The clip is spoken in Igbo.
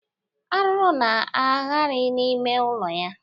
Arụrụ na-aghari n'ime ụlọ ya.